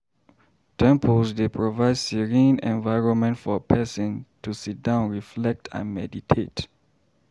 Temples dey provide serene environment for pesin to sidon reflect and meditate.